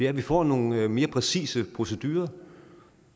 at vi får nogle mere præcise procedurer